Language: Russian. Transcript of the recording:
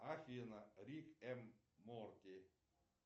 афина рик энд морти